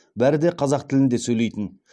бәрі де қазақ тілінде сөйлейтін